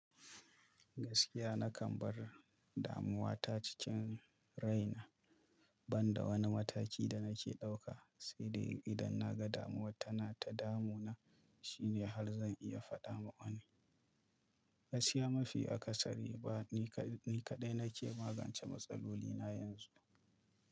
Gaskiya nakan bar damuwa ta cikin raina, banda wani mataki da nake ɗauka, saidai idan naga damuwar tana ta damuna shine har zan iya faɗa ma wani. Gaskiya mafi akasari ba ni kaɗai nake magance matsaloli na yanzu.